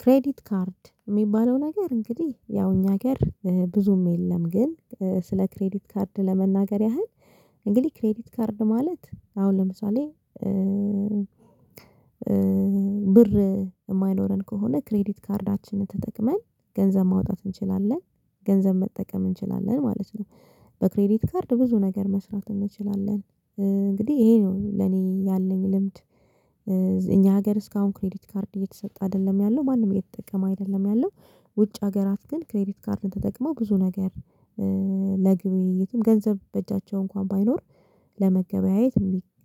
ክሬዲት ካርድ እሚባለው ነገር እንግዲህ ያው እኛ ሀገር ብዙም የለም ግን ስለ ክሬዲት ካርድ ለመናገር ያህል እንግዲህ ክሬዲት ካርድ ማለት አሁን ለምሳሌ ብር የማይኖረን ከሆነ ክሬዲት ካርዳችንን ተጠቅመን ገንዘብ ማውጣት እንችላለን ገንዘብ መጠቀም እንችላለን ማለት ነው። በክሬዲት ካርድ ብዙ ነገር መስራት እንችላለን። እንግዲህ ይሄ ነው ለኔ ያለኝ ልምድ። እኛ ሀገር እስካሁን ክሬዲት ካርድ እየተሰጠ አይደለም ያለው ማንም እየተጠቀመ አይደለም ያለው። ውጭ ሀገራት ግን ክሬዲት ካርድን ተጠቅመው ብዙ ነገር። ለግብይትም ገንዘብ በእጃቸው እንኳን ባይኖር ለመገበያየት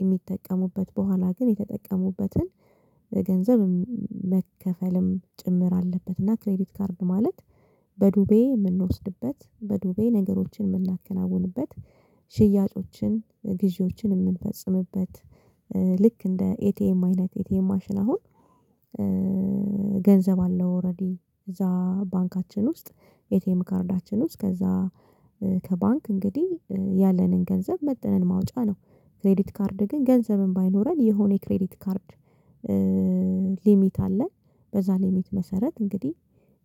የሚጠቀሙበት በኋላ ግን የተጠቀሙበትን ገንዘብ መከፈልም ጭምር አለበት። እና ክሬዲት ካርድ ማለት በዱቤ እምንወስድበት በዱቤ ነገሮችን የእምናከናውንበት ሽያጮችን ግዢዎችን እምንፈጽምበት። ልክ እንደ ኤቲኤም አይነት ኤቲኤም ማሽን አሁን ገንዘብ አለው ኦሬዲ እዛ ባንካችን ውስጥ ኣቲኤም ካርዳችን ውስጥ ከዛ ከባንክ እንግዲህ ያለንን ገንዘብ መጥነን ማውጫ ነው። ክሬዲት ካርድ ግን ገንዘብም ባይኖረን የሆነ የክሬዲት ካርድ ሊሚት አለ። በዛ ሊሚት መሰረት እንግዲህ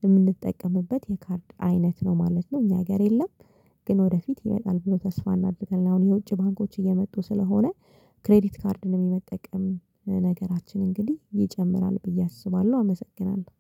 እምንጠቀምበት የካርድ አይነት ነው ማለት ነው እኛ ሀገር የለም። ግን ወደፊት ይመጣል ብሎ ተስፋ እናደርጋለን። አሁን የውጭ ባንኮች እየመጡ ስለሆነ ክሬዲት ካርድን እምንጠቀም ነገራችን እንግዲህ ይጨምራል ብዬ አስባለሁ። አመሰግናለሁ